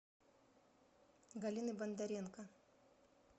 галины бондаренко